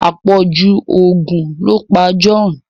apọju oògùn lọ pá John.